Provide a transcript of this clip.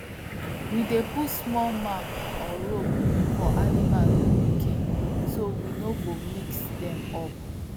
we dey put small mark or rope for animal pikin so we no go mix dem up